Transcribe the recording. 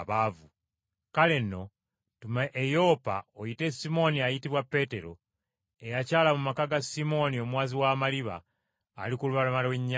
Kale nno, tuma e Yopa, oyite Simooni ayitibwa Peetero, eyakyala mu maka ga Simooni omuwazi w’amaliba ali ku lubalama lw’ennyanja.’